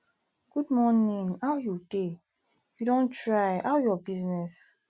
good morning how you dey you don try how your business